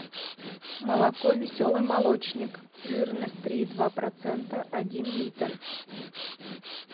молоко веселый молочник жирность три и два процента один литр